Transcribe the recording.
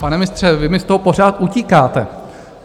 Pane ministře, vy mi z toho pořád utíkáte.